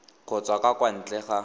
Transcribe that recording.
kgotsa ka kwa ntle ga